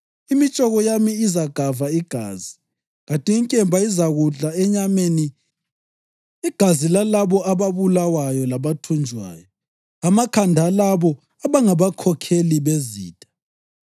Imitshoko yami izagava igazi, kanti inkemba izakudla enyameni: igazi lalabo ababulawayo labathunjwayo, amakhanda alabo abangabakhokheli bezitha.’